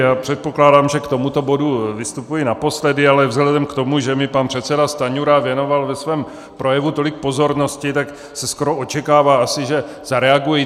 Já předpokládám, že k tomuto bodu vystupuji naposledy, ale vzhledem k tomu, že mi pan předseda Stanjura věnoval ve svém projevu tolik pozornosti, tak se skoro očekává asi, že zareaguji.